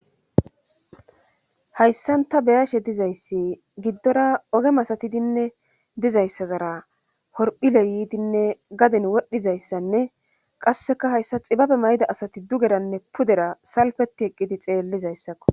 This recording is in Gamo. Hayssanta beyashe dizayssi giddora ogemasatidinne dizayssazara horphile yiidinne gadin wodhizayssanne qasseka hayssa xibabe mayda asati dugedanne pudera salfeti eqqidi xeellizayssakko.